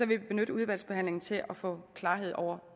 vil vi benytte udvalgsbehandlingen til at få klarhed over